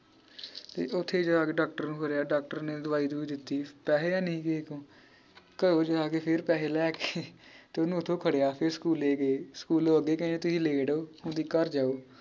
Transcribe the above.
ਤੇ ਓਥੇ ਜਾ ਕੇ ਡਾਕਟਰ ਨੂੰ ਖੜ੍ਹਿਆ ਡਾਕਟਰ ਨੇ ਦਵਾਈ ਦਵੁਈ ਦਿੱਤੀ ਪੈਹੇ ਹੈਨੀ ਹੀ ਕੇਹੇ ਕੋ ਘਰੋਂ ਜਾ ਕੇ ਫੇਰ ਪੈਹੇ ਲੈਕੇ ਤੇ ਓਹਨੂੰ ਓਥੋਂ ਖੜ੍ਹਿਆ ਫੇਰ school ਗਏ ਸਕੂਲੋਂ ਅੱਗੇ ਕਹਿਣ ਤੁਹੀਂ late ਹੋ ਘਰ ਜਾਓ